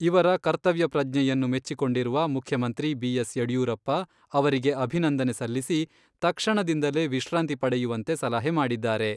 ಇವರ ಕರ್ತವ್ಯ ಪ್ರಜ್ಞೆಯನ್ನು ಮೆಚ್ಚಿಕೊಂಡಿರುವ ಮುಖ್ಯಮಂತ್ರಿ ಬಿ.ಎಸ್.ಯಡಿಯೂರಪ್ಪ ಅವರಿಗೆ ಅಭಿನಂದನೆ ಸಲ್ಲಿಸಿ, ತಕ್ಷಣದಿಂದಲೇ ವಿಶ್ರಾಂತಿ ಪಡೆಯುವಂತೆ ಸಲಹೆ ಮಾಡಿದ್ದಾರೆ.